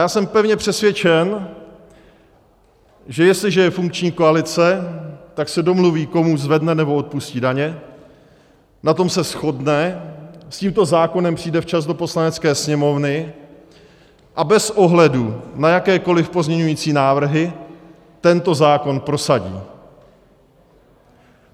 Já jsem pevně přesvědčen, že jestliže je funkční koalice, tak se domluví, komu zvedne, nebo odpustí daně, na tom se shodne, s tímto zákonem přijde včas do Poslanecké sněmovny a bez ohledu na jakékoliv pozměňovací návrhy tento zákon prosadí.